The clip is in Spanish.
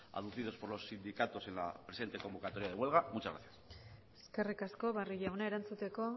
abducidos por los sindicatos en la presente convocatoria de huelga muchas gracias eskerrik asko barrio jauna erantzuteko